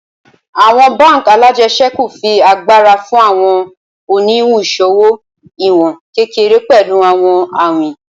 Awọn bánk alájẹsẹ́kù fi agbara fun awọn oniwun iṣowo iwọn kekere pẹlu awọn awin